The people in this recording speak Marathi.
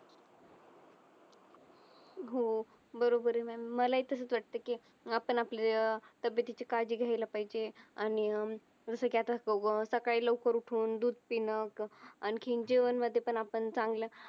हो बरोबर ये mam मला ही तसंच वाटतं की आपण आपल्या अह तब्यतेची काजी घ्यायला पाहिजे आणि अं जस की आता सकाळी लवकर उठून दूध पिणं अह आणखीन जेवण मध्ये पण आपण चांगला